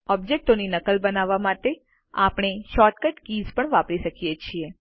ઓબ્જેક્ટોની નકલ બનાવવા માટે આપણે શોર્ટકટ કીઝ પણ વાપરી શકીએ છીએ